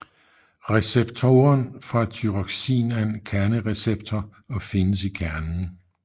Receptoren for Thyroxin er en kernereceptor og findes i kernen